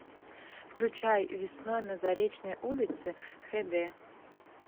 включай весна на заречной улице хд